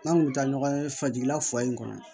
N'an kun taa ɲɔgɔn ye fajirila fa in kɔnɔ